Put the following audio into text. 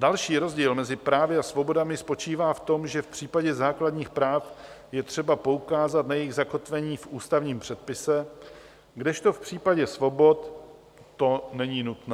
Další rozdíl mezi právy a svobodami spočívá v tom, že v případě základních práv je třeba poukázat na jejich zakotvení v ústavním předpise, kdežto v případě svobod to není nutné.